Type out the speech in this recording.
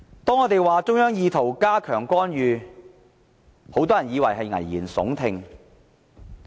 當我們指中央意圖加強干預時，很多人都以為是危言聳聽。